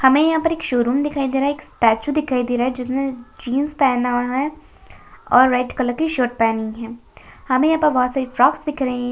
हमें यहां पर एक शोरूम दिखाई दे रहा है एक स्टैचू दिखाई दे रहा है जिसने जींस पहनना है और रेड कलर की शर्ट पहनी है हमें यहां पर बहुत सारी फ्रॉक्स दिख रही है।